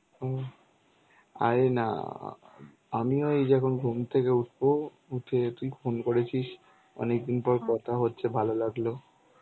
হুম. আরে না. আমিও এই যখন ঘুম থেকে উঠবো. উঠে তুই phone করেছিস. অনেকদিন পর কথা হচ্ছে ভালো লাগলো.